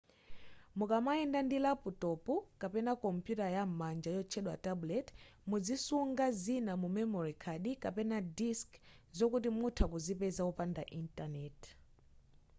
mukamayenda ndi laputopu kapena kompuyuta yam'manja yotchedwa tablet muzisunga zina mu memory card kapena disc zokuti mutha kuzipeza wopanda intaneti